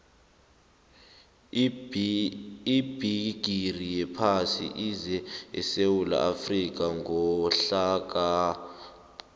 ibhigiri yephasi ize esewula afrika ngonyaka ka